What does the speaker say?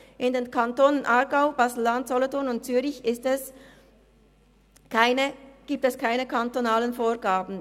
In den Kantonen Aargau, Baselland, Solothurn und Zürich gibt es keine kantonalen Vorgaben.